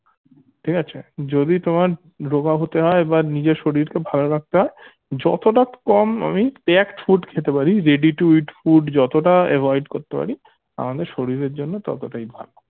ঠিক আছে যদি তোমার রোগা হতে হয় বা নিজের শরীরকে ভালো রাখতে হয় যতটা কম আমি packed food খেতে পারি ready to eat food যতটা avoid করতে পারি আমি শরীরের জন্য ততটাই ভালো